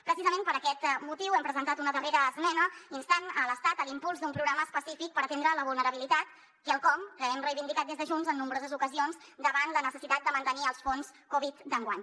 precisament per aquest motiu hem presentat una darrera esmena instant l’estat a l’impuls d’un programa específic per atendre la vulnerabilitat quelcom que hem reivindicat des de junts en nombroses ocasions davant la necessitat de mantenir els fons covid d’enguany